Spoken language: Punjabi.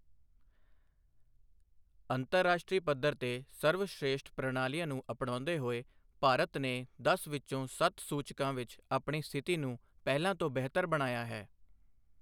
ਅੰਤਰਰਾਸ਼ਟਰੀ ਪੱਧਰ ਤੇ ਸਰਵਸ਼੍ਰੇਸ਼ਠ ਪ੍ਰਣਾਲੀਆਂ ਨੂੰ ਅਪਣਾਉਂਦੇ ਹੋਏ ਭਾਰਤ ਨੇ ਦਸ ਵਿੱਚੋਂ ਸੱਤ ਸੂਚਕਾਂ ਵਿੱਚ ਆਪਣੀ ਸਥਿਤੀ ਨੂੰ ਪਹਿਲਾਂ ਤੋਂ ਬਿਹਤਰ ਬਣਾਇਆ ਹੈ।